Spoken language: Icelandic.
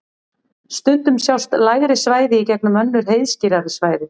stundum sjást lægri svæði í gegnum önnur heiðskírari svæði